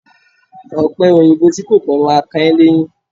Ọ̀pẹòyìnbó tí kò pọ́n ma kan ẹ́ léyín